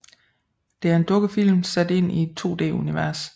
Det er en dukkefilm sat ind i et 2D univers